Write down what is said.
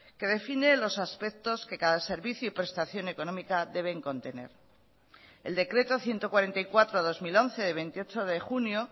que define los aspectos que cada servicio y prestación económica deben contener el decreto ciento cuarenta y cuatro barra dos mil once de veintiocho de junio